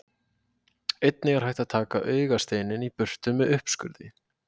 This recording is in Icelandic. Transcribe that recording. Einnig er hægt að taka augasteininn í burtu með uppskurði.